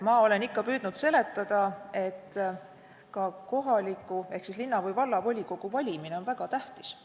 Ma olen ikka püüdnud seletada, et ka kohaliku omavalitsuse ehk linna- või vallavolikogu valimine on väga tähtis.